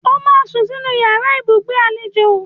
O máa sún sínú yàrá ibùsùn àlejò